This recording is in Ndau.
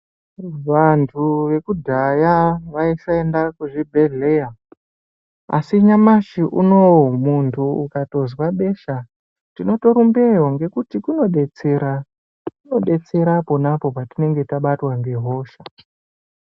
Vantu vekudhaya vaisaenda kuzvibhedhleya asi nyamashi unowo muntu ukatozwa besha tinotorumbeyo ngekuti kunodetsera, kunodetsera ponapo patinge tabatwa ngehosha.